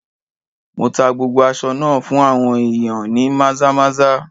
Mo tá gbogbo aṣọ náà fún àwọn ìyàn ní Maza-maza.